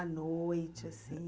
À noite, assim...